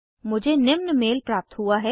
मुझे निम्न मेल प्राप्त हुआ है